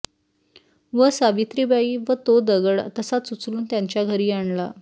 व सावित्रीबाई व तो दगड तसाच उचलून त्यांच्या घरी आणला